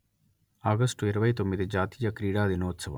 ఆగష్టు ఇరవై తొమ్మిది జాతీయ క్రీడా దినోత్సవము